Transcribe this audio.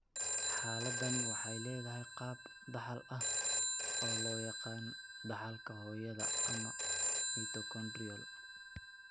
Xaaladdani waxay leedahay qaab dhaxal ah oo loo yaqaan dhaxalka hooyada ama mitochondrial.